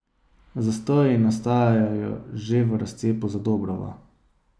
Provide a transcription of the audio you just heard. Zastoji nastajajo že v razcepu Zadobrova.